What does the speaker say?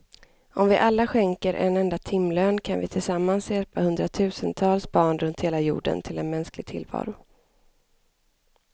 Om vi alla skänker en enda timlön kan vi tillsammans hjälpa hundratusentals barn runt hela jorden till en mänsklig tillvaro.